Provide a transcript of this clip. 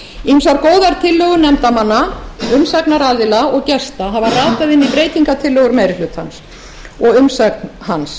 ýmsar góðar tillögur nefndarmanna umsagnaraðila og gesta hafa ratað inn í breytingartillögur meiri hlutans og umsögn hans